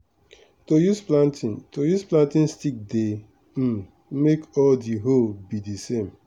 to use planting to use planting stick dey um make all d hole be d same.